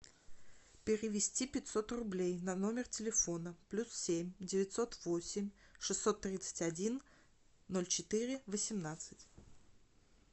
перевести пятьсот рублей на номер телефона плюс семь девятьсот восемь шестьсот тридцать один ноль четыре восемнадцать